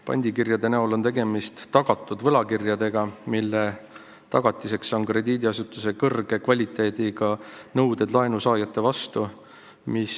Pandikirjade näol on tegemist tagatud võlakirjadega, mille tagatiseks on krediidiasutuse kõrge kvaliteediga nõuded laenusaajate vastu.